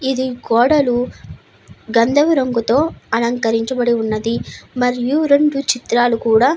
ఇది గోడలు గంధపు రంగుతో అలకరించబడి ఉన్నది. మరియు రెండు చిత్రాలు కూడా --